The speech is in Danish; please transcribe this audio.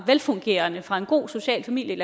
velfungerende fra en god social familie